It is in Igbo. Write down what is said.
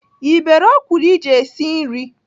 Ị bere ọkwụrụ iji esi nri?